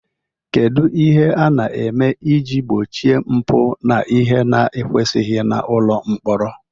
Kedu ihe a na-eme iji gbochie mpụ na ihe na ekwesighi n'ụlọ mkpọrọ?